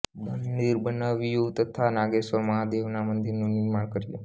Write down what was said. મંદિર બનાવ્યું તથા નાગેશ્વર મહાદેવના મંદિરનું નિર્માણ કર્યું